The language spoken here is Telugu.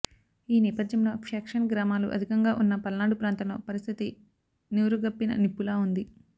ఈ నేపథ్యంలో ఫ్యాక్షన్ గ్రామాలు అధికంగా ఉన్న పల్నాడు ప్రాంతంలో పరిస్థితి నివురుగప్పిన నిప్పులా ఉంది